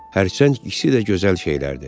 Hərçənd ikisi də gözəl şeylərdir.